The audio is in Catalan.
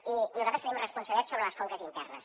i nosaltres tenim responsabilitat sobre les conques internes